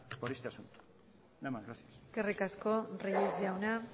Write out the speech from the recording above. por este asunto nada más gracias eskerrik asko reyes jauna